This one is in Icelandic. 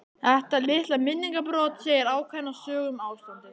Þetta litla minningarbrot segir ákveðna sögu um ástandið.